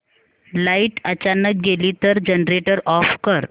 light अचानक गेली तर जनरेटर ऑफ कर